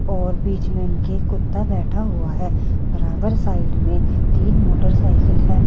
और बीच में इनके कुत्ता बैठा हुआ है बराबर साइड में तीन मोटरसाइकिल है।